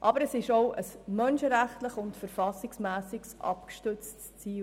Aber dieses Ziel ist auch menschenrechtlich und verfassungsmässig abgestützt.